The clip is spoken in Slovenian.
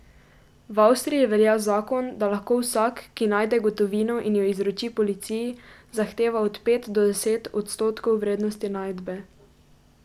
V Avstriji velja zakon, da lahko vsak, ki najde gotovino in jo izroči policiji, zahteva od pet do deset odstotkov vrednosti najdbe.